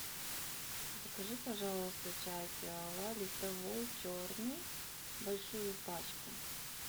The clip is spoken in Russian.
закажи пожалуйста чай пиала листовой черный большую пачку